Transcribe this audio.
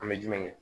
An bɛ jumɛn kɛ